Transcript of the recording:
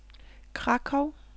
Krakow